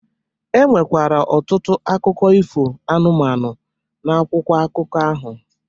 E nwekwara ọtụtụ akụkọ ifo anụmanụ n’akwụkwọ akụkọ ahụ